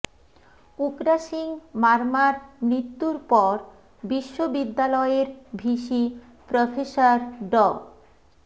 উকরা সিং মারমার মৃত্যুর পর বিশ্ববিদ্যালয়ের ভিসি প্রফেসর ড